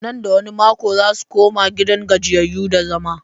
Nan da wani mako za su koma gidan gajiyayyu da zama.